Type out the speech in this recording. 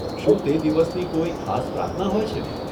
શું તે દિવસની કોઈ ખાસ પ્રાર્થના હોય છે?